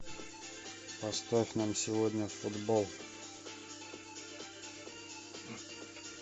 поставь нам сегодня футбол